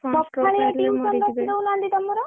ସକାଳୁଆ tuition ରଖି ଦଉନାହାନ୍ତି ତମର?